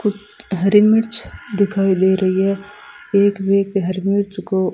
हरी मिर्च दिखाई दे रही है एक व्यक्ति हरी मिर्च को--